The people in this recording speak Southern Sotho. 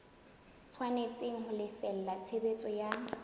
tshwanetse ho lefella tshebediso ya